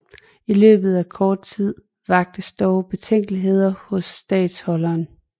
I løbet af kort tid vaktes dog betænkeligheder hos statholderen